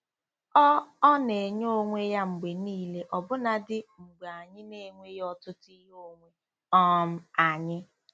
Ọ Ọ na-enye onwe ya mgbe niile ọbụna dị mgbe anyị na-enweghị ọtụtụ ihe onwe um anyị.